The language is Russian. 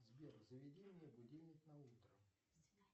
сбер заведи мне будильник на утро